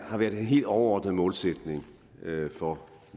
har været den helt overordnede målsætning for